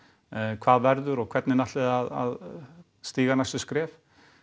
hvað verður og hvernig ætlið þið að stíga næstu skref